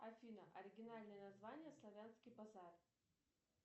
афина оригинальное название славянский базар